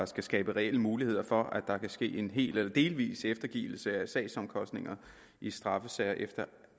skal skabe reelle muligheder for at der kan ske en hel eller delvis eftergivelse af sagsomkostninger i straffesager efter